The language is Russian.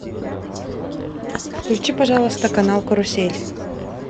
включи пожалуйста канал карусель